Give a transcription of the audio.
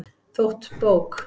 Þótt bók